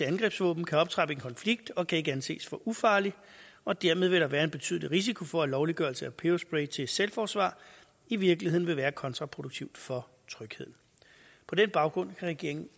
angrebsvåben kan optrappe en konflikt og kan ikke anses for ufarlig og dermed vil der være en betydelig risiko for at lovliggørelse af peberspray til selvforsvar i virkeligheden vil være kontraproduktivt for trygheden på den baggrund kan regeringen